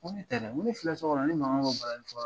Ko ne tɛ dɛ. N ko ne filɛ so kɔnɔ, ne mankan bɛ balani fɔla